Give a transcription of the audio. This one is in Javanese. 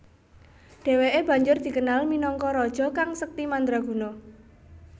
Dheweke banjur dikenal minangka raja kang sekti mandraguna